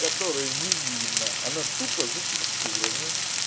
которую не видно она тупо за текстурами